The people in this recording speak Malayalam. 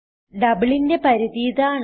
Doubleന്റെ പരിധി ഇതാണ്